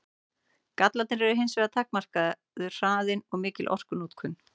Gallarnir eru hins vegar takmarkaður hraðinn og mikil orkunotkun.